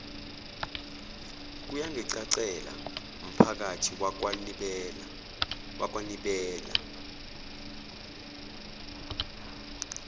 kuyangicacela mphakathi wakwanibela